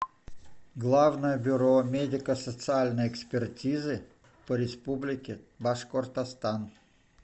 главное бюро медико социальной экспертизы по республике башкортостан